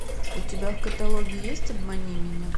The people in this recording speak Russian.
у тебя в каталоге есть обмани меня